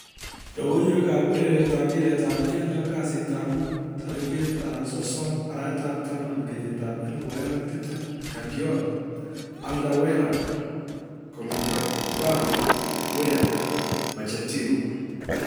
logoiywekab urerietab mpiretab keldo kasitab mut 30.10.2020: Guardiola, Alderweireld, Koulibaly, Weah, Pochettino